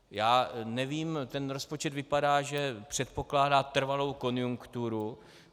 Já nevím, ten rozpočet vypadá, že předpokládá trvalou konjunkturu.